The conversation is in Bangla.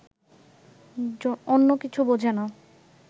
অন্য কিছু বোঝে না